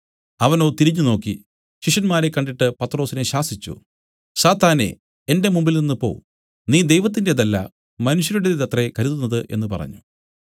അവനോ തിരിഞ്ഞുനോക്കി ശിഷ്യന്മാരെ കണ്ടിട്ട് പത്രൊസിനെ ശാസിച്ചു സാത്താനേ എന്റെ മുമ്പിൽനിന്ന് പോ നീ ദൈവത്തിന്റേതല്ല മനുഷ്യരുടേതത്രേ കരുതുന്നത് എന്നു പറഞ്ഞു